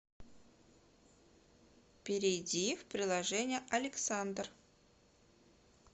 перейди в приложение александр